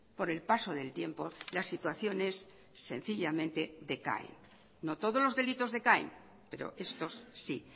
por el paso del tiempo las situaciones sencillamente decaen no todos los delitos decaen pero estos sí